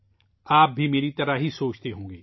آپ بھی میری طرح سوچ رہے ہوں گے